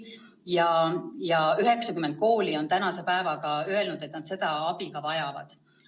Tänase päeva seisuga on 90 kooli öelnud, et nad seda abi vajavad.